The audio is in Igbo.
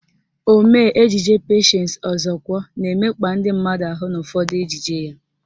Omee ejije Patience Ọzọkwọ na-emekpa ndị mmadụ ahụ n'ụfọdụ ejije ya.